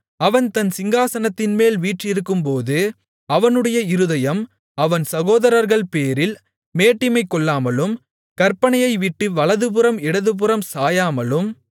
அவன் தன் சிங்காசனத்தின்மேல் வீற்றிருக்கும்போது அவனுடைய இருதயம் அவன் சகோதரர்கள்பேரில் மேட்டிமை கொள்ளாமலும் கற்பனையைவிட்டு வலதுபுறம் இடதுபுறம் சாயாமலும்